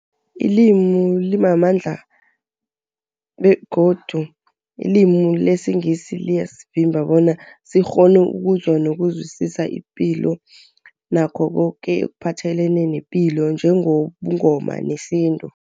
Ilimi limamandla begodu ilimi lesiNgisi liyasivimba bona sikghone ukuzwa nokuzwisisa ipilo nakho koke ekuphathelene nepilo njengobuNgoma nesintu.